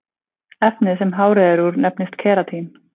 Efnið sem hárið er úr nefnist keratín.